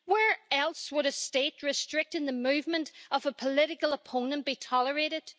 Where else would a state restricting the movement of a political opponent be tolerated?